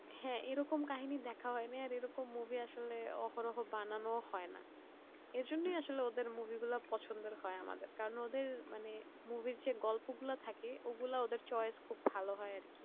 হ্যাঁ এরকম কাহিনী দেখা হয় এরকম movie আসলে অপরহ বানানো হয়নি এজন্য আসলে ওদের movie গুলো পছন্দের হয় আমাদের ওদের মানে movie এর যে গল্পগুলো থাকে ওগুলো ওদের movie choice খুব ভালো হয় আর কি